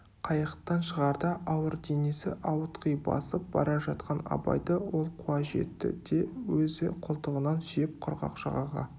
қайықтан шығарда ауыр денесі ауытқи басып бара жатқан абайды ол қуа жетті де өзі қолтығынан сүйеп құрғақ жағаға